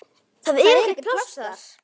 Það er ekkert pláss þar.